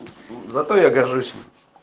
зато я горжусь им